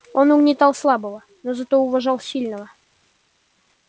он угнетал слабого но зато уважал сильного